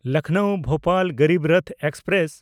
ᱞᱚᱠᱷᱱᱚᱣ–ᱵᱷᱳᱯᱟᱞ Garib Rath express